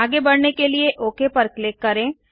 आगे बढ़ने के लिए ओक पर क्लिक करें